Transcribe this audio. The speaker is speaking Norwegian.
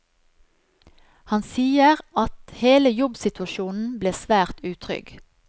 Han sier at hele jobbsituasjonen ble svært utrygg.